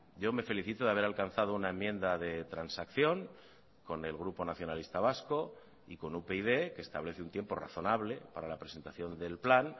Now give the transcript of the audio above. yo me felicito de haber alcanzado una enmienda de transacción con el grupo nacionalista vasco y con upyd que establece un tiempo razonable para la presentación del plan